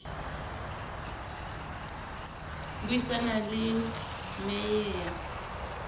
bui sana le mec ya